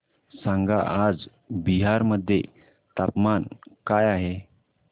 सांगा आज बिहार मध्ये तापमान काय आहे